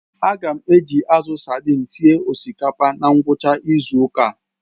Aga m eji azụ sadin esi osikapa na ngwucha izu uka